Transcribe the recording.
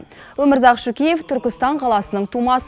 өмірзақ шөкеев түркістан қаласының тумасы